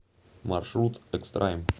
маршрут экстрайм